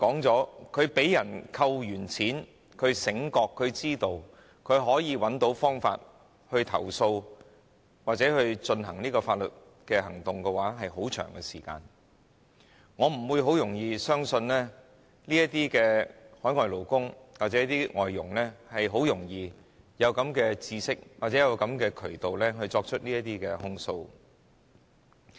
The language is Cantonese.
這些被人扣取金錢的勞工從醒覺被剝削至知道和找到方法投訴或進行法律行動，這過程需要很長時間，我不會容易相信海外勞工或外傭很容易具備知識和找到渠道作出這些控訴。